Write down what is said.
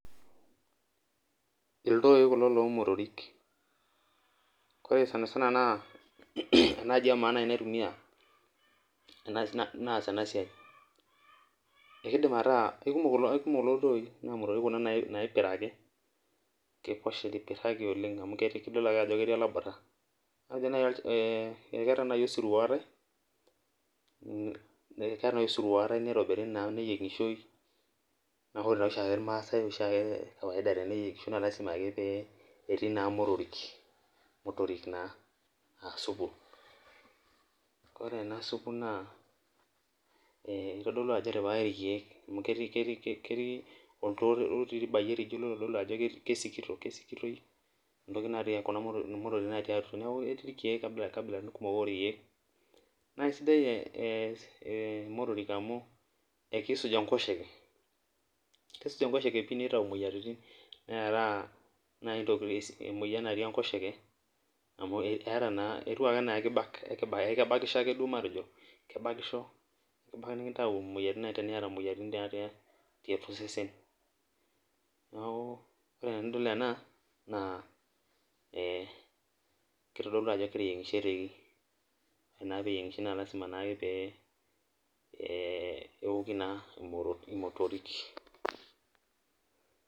Ildoi kulo lomotorik na ore sanisana na enaaji emaabnaas enasia kekumok kulo toi lomotorik naipiraki amu idol ajo letii olabura keetae nai osirua ootae neyiengishoi na ore oshiake irmaasai peyiengishoi na lasima ake petii motorik na aa supu ore enasupu na kitadolu ajo etipikaki irkiek ketii nkabilaitin kumok orkiek naisidaimotorik amu kisuj enkoshe nitau moyiaritin neara moyiaritin natii enkosheke amu eeta naa etiu anaa kebakisho ebaki nikintau moyiaritin natii atua osesen neaku ore enidol ena na kitadolu ajo eteyiengishoreki nalasima na peoki motorik